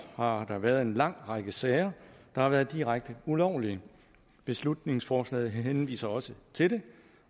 har der været en lang række sager der har været direkte ulovlige beslutningsforslaget henviser også til det